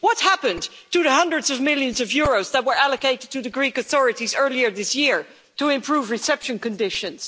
What happened to the hundreds of millions of euros that were allocated to the Greek authorities earlier this year to improve reception conditions?